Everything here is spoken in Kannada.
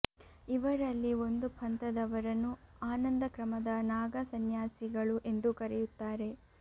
ಇವರಲ್ಲಿ ಒಂದು ಪಂಥದವರನ್ನು ಆನಂದ ಕ್ರಮದ ನಾಗಾ ಸಂನ್ಯಾಸಿಗಳು ಎಂದು ಕರೆಯುತ್ತಾರೆ